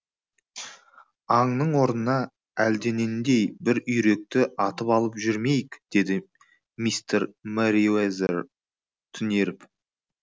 аңның орнына әлденендей бір үйректі атып алып жүрмейік деді мистер мерриуэзер түнеріп